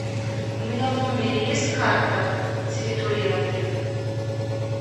у меня в номере есть карта территории отеля